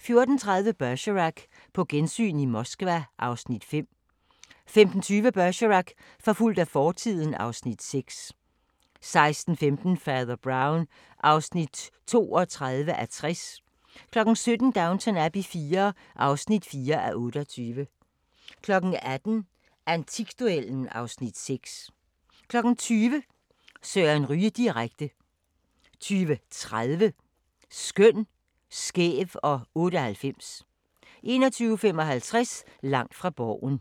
14:30: Bergerac: På gensyn i Moskva (Afs. 5) 15:20: Bergerac: Forfulgt af fortiden (Afs. 6) 16:15: Fader Brown (32:60) 17:00: Downton Abbey IV (4:28) 18:00: Antikduellen (Afs. 6) 20:00: Søren Ryge direkte 20:30: Skøn, skæv og 98 21:55: Langt fra Borgen